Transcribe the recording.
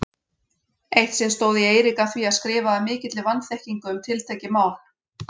Eitt sinn stóð ég Eirík að því að skrifa af mikilli vanþekkingu um tiltekið mál.